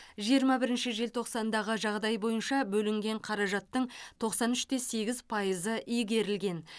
жиырма бірінші желтоқсандағы жағдай бойынша бөлінген қаражаттың тоқсан үш те сегіз пайызы игерілген